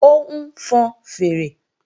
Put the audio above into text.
Ó ń fọn fèèrè